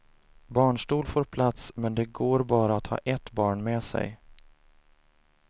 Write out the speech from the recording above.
Barnstol får plats men det går bara att ha ett barn med sig.